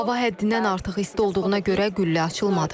Hava həddindən artıq isti olduğuna görə qüllə açılmadı.